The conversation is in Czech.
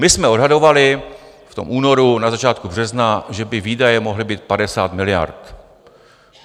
My jsme odhadovali v tom únoru, na začátku března, že by výdaje mohly být 50 miliard.